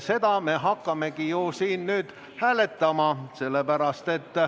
Seda me hakkamegi nüüd hääletama.